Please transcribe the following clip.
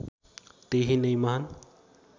त्यही नै महान्